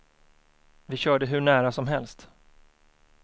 Vi körde hur nära som helst.